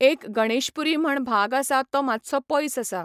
एक गणेशपुरी म्हण भाग आसा तो मातसो पयस आसा.